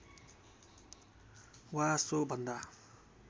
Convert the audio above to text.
वा सो भन्दा